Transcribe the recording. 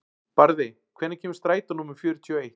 Barði, hvenær kemur strætó númer fjörutíu og eitt?